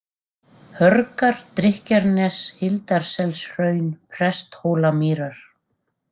Hörgar, Drykkjarnes, Hildarselshraun, Presthólamýrar